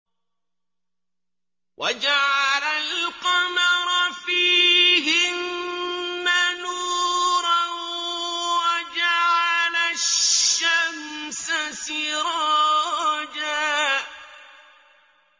وَجَعَلَ الْقَمَرَ فِيهِنَّ نُورًا وَجَعَلَ الشَّمْسَ سِرَاجًا